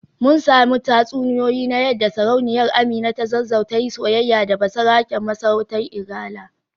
Mun samu tatsuniyoyi na yadda Sarauniyar Amina ta Zazzau ta yi soyayya da basaraken masarautar Igala